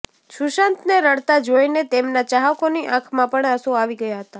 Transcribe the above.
સુશાંતને રડતા જોઈને તેમના ચાહકોની આંખમાં પણ આંસુ આવી ગયા હતા